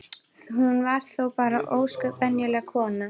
Hún var þó bara ósköp venjuleg kona.